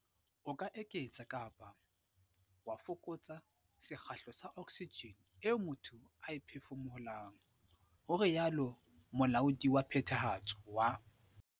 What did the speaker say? "O ka eketsa kapa wa fokotsa sekgahla sa oksijene eo motho a e phefumolohang," ho rialo Molaodi wa Phethahatso wa.